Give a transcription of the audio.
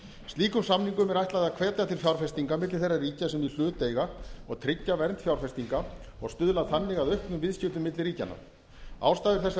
slíkum samningum er ætlað að hvetja til fjárfestinga milli þeirra ríkja sem í hlut eiga og tryggja vernd fjárfestinga og stuðla þannig að auknum viðskiptum milli ríkjanna ástæður þess að